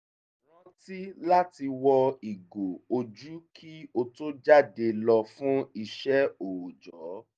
rántí láti wọ ìgò ojú kí ó tó jáde lọ fún ìṣẹ́ òójọ̀